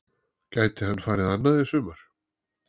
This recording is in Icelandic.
Gæti hann farið annað í sumar?